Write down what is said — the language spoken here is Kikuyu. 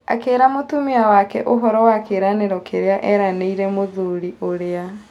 Akĩĩra mũtumia wake ũhoro wa kĩĩranĩro kĩrĩa eranĩire mũthuri ũrĩa.